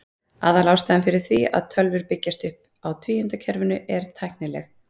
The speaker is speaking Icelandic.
Aðalástæðan fyrir því að tölvur byggjast upp á tvíundakerfinu er tæknileg.